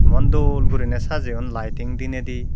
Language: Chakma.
emon dol guriney sajeyon laiting diney di.